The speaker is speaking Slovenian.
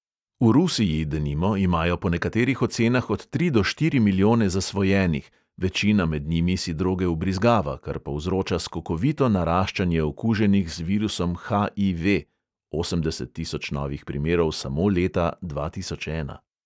V rusiji, denimo, imajo po nekaterih ocenah od tri do štiri milijone zasvojenih, večina med njimi si droge vbrizgava, kar povzroča skokovito naraščanje okuženih z virusom HIV (osemdeset tisoč novih primerov samo leta dva tisoč ena).